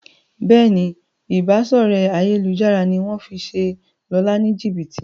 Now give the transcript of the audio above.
Béèni Ìbáṣọ̀rẹ́ ayélujára ní wón fí ṣe Lọla ní jibiti.